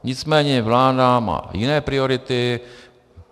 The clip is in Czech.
Nicméně vláda má jiné priority.